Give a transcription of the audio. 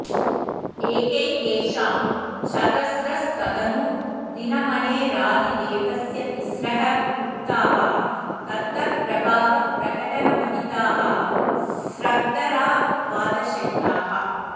एकैकेषां चतस्रस्तदनु दिनमणेरादिदेवस्य तिस्रः कॢप्ताः तत्तत्प्रभावप्रकटनमहिताः स्रग्धरा द्वादशैताः